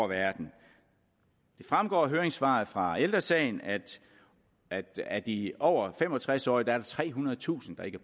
verden det fremgår af høringssvaret fra ældre sagen at af de over fem og tres årige er der trehundredetusind der ikke